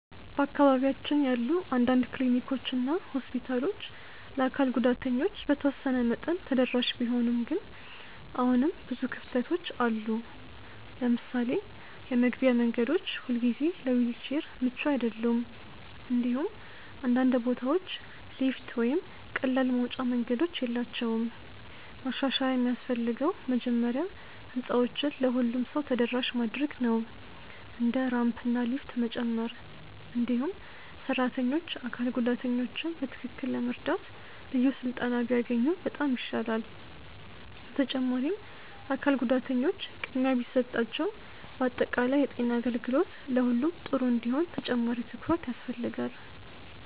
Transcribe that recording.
በአካባቢያችን ያሉ አንዳንድ ክሊኒኮች እና ሆስፒታሎች ለአካል ጉዳተኞች በተወሰነ መጠን ተደራሽ ቢሆኑም ግን አሁንም ብዙ ክፍተቶች አሉ። ለምሳሌ የመግቢያ መንገዶች ሁልጊዜ ለዊልቸር ምቹ አይደሉም፣ እንዲሁም አንዳንድ ቦታዎች ሊፍት ወይም ቀላል መውጫ መንገዶች የላቸውም። ማሻሻያ የሚያስፈልገው መጀመሪያ ህንፃዎችን ለሁሉም ሰው ተደራሽ ማድረግ ነው፣ እንደ ራምፕ እና ሊፍት መጨመር። እንዲሁም ሰራተኞች አካል ጉዳተኞችን በትክክል ለመርዳት ልዩ ስልጠና ቢያገኙ በጣም ይሻላል። በተጨማሪም አካል ጉዳተኞች ቅድሚያ ቢሰጣቸው በአጠቃላይ የጤና አገልግሎት ለሁሉም ጥሩ እንዲሆን ተጨማሪ ትኩረት ያስፈልጋል።